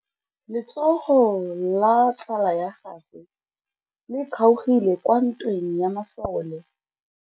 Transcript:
Letsôgô la tsala ya gagwe le kgaogile kwa ntweng ya masole.